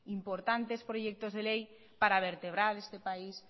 importantes proyectos de ley para vertebrar este país